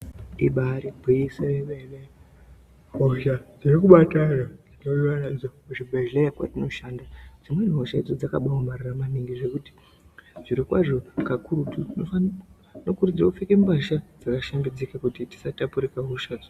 Ibari gwinyiso yemene hosha dziri kubata anhu veiuya nadzo kuchibhedhleya kwatinoshanda dzimweni hosha idzo dzakabaomarara maningi zvekuti zvirokwazvo kakurutu tinokurudzirwa kupfeke mbasha dzakashambidzika kuti tisatapurirwa hoshadzo.